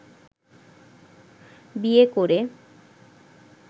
বিয়ে করে